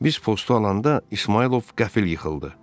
Biz postu alanda İsmayılov qəfil yıxıldı.